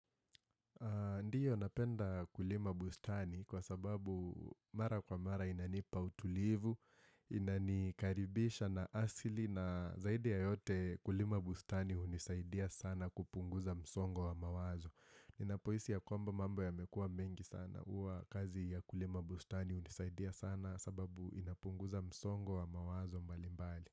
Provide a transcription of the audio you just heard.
Ndio napenda kulima bustani kwa sababu mara kwa mara inanipa utulivu, inanikaribisha na asili na zaidi ya yote kulima bustani hunisaidia sana kupunguza msongo wa mawazo. Ninapohisi ya kwamba mambo yamekua mengi sana huwa kazi ya kulima bustani hunisaidia sana sababu inapunguza msongo wa mawazo mbalimbali.